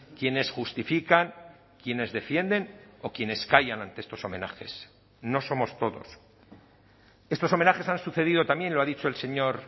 quienes justifican quienes defienden o quienes callan ante estos homenajes no somos todos estos homenajes han sucedido también lo ha dicho el señor